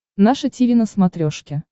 наше тиви на смотрешке